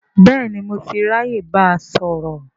Bẹ́ẹ̀ni, mo ti ráyè báa sọ̀rọ̀